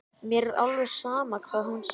Mér er alveg sama hvað hún segir.